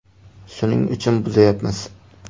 Shuning uchun buzayapmiz.